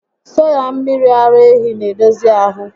Soya mmiri ara ehi n'edozi ahụ